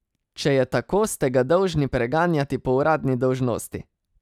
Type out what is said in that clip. Če je tako, ste ga dolžni preganjati po uradni dolžnosti!